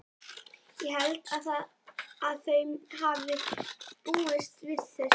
Ég held að þau hafi búist við þessu.